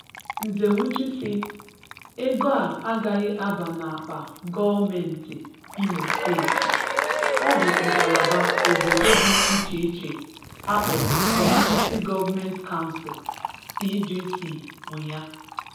Nzewuji si 'Ego a gaghị abanye n'akpa gọọmentị Imo steeti, ọ bụ ngalaba obodo dị icheiche akporọ Community Government Council (CGC) nwe ya'